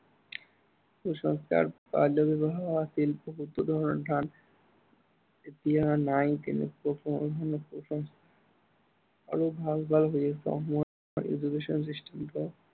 কুসংস্কাৰ আছিলে বহুতো ধৰনৰ অৰ্থাত এতিয়া নাই কিন্তু কুসংস্কাৰ, আৰু ভাল বা বেয়া education system টো